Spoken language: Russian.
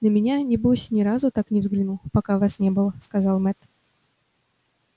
на меня небось ни разу так не взглянул пока вас не было сказал мэтт